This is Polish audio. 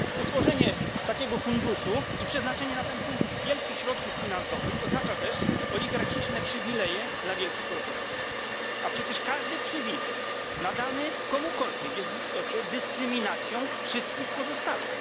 Utworzenie takiego funduszu i przeznaczenie na niego wielkich środków finansowych oznacza też oligarchiczne przywileje dla wielkich korporacji, a przecież każdy przywilej nadany komukolwiek jest w istocie dyskryminacją wszystkich pozostałych.